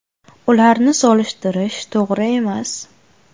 Ularni solishtirish to‘g‘ri emas.